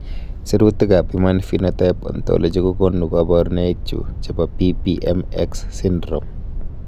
Sirutikab Human Phenotype Ontology kokonu koborunoikchu chebo PPM X syndrome.